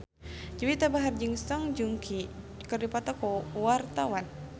Juwita Bahar jeung Song Joong Ki keur dipoto ku wartawan